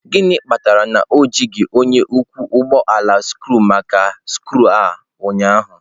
Gịnị kpatara na o jighị onye ọkwọ ụgbọ ala scree maka skru a ụnyaahụ?